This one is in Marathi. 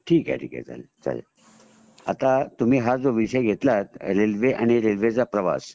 ठीक आहे ठीक आहे चालेल आता तुम्ही हा जो विषय घेतलात रेल्वे आणि रेल्वे चा प्रवास